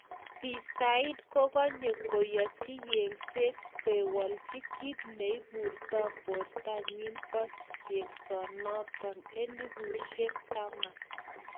Bi said kogonye koyochi yengset kowelchi kit neipurto portanyin po yengsonoton �10,000.